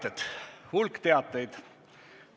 On hulk teateid.